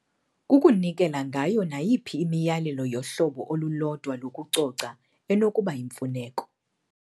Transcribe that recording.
Kukunikela ngayo nayiphi imiyalelo yohlobo olulodwa lokucoca enokuba yimfuneko.